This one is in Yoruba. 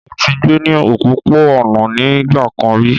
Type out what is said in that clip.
Mọ tí gbé ní òpópó-ònà ní nigbákán rí